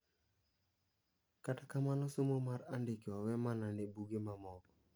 Kata kamano somo mar andike owe mana ne buge mamoko.